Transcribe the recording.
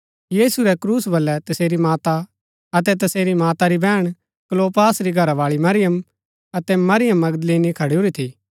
यीशु रै क्रूस बलै तसेरी माता अतै तसेरी माता री बैहण क्लोपास री घरावाळी मरियम अतै मरियम मगदलीनी खडूरी थी